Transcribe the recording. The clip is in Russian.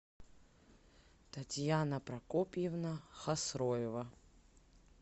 татьяна прокопьевна хасроева